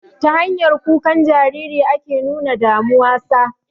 Ta hanyar kukan Jariri ake nuna damuwa sa